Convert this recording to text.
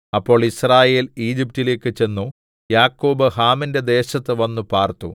അപ്പോൾ യിസ്രായേൽ ഈജിപ്റ്റിലേക്ക് ചെന്നു യാക്കോബ് ഹാമിന്റെ ദേശത്ത് വന്നു പാർത്തു